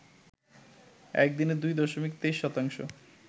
একদিনে ২ দশমিক ২৩ শতাংশ